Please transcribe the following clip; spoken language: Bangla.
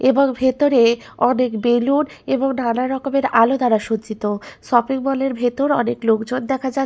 এবং ভেতরে অনেক বেলুন এবং নানারকমের আলো দ্বারা সজ্জিত শপিং মল -এর ভেতর অনেক লোকজন দেখা যা --